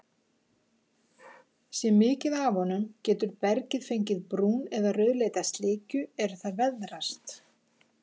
Sé mikið af honum, getur bergið fengið brún- eða rauðleita slikju er það veðrast.